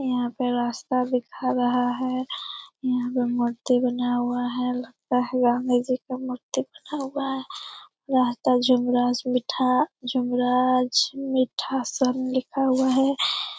यहाँ पे रास्ता दिखा रहा है यहाँ पे मूर्ति बनाया हुआ है लगता है गांधीजी मूर्ति बनाया हुआ है रास्ता जुमरास मिठा जुमराज मीठा सब लिखा हुआ है।